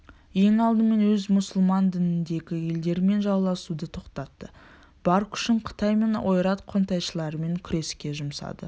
ең алдымен ол мұсылман дініндегі елдермен жауласуды тоқтатты бар күшін қытай мен ойрат қонтайшыларымен күреске жұмсады